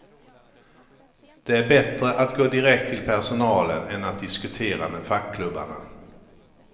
Det är bättre att gå direkt till personalen än att diskutera med fackklubbarna.